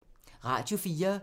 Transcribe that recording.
Radio 4